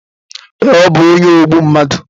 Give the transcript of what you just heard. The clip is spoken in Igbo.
Ee ọ bu onye ogbu mmadụ